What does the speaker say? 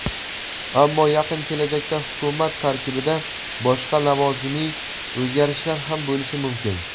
Ammo yaqin kelajakda Hukumat tarkibida boshqa lavozimiy o‘zgarishlar ham bo‘lishi mumkin.